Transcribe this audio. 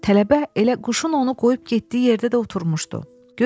Tələbə elə quşun onu qoyub getdiyi yerdə də oturmuşdu.